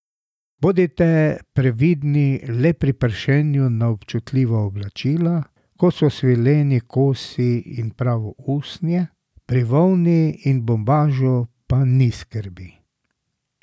Bodite previdni le pri pršenju na občutljiva oblačila, kot so svileni kosi in pravo usnje, pri volni in bombažu pa ni skrbi.